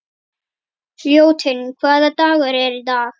Ljótunn, hvaða dagur er í dag?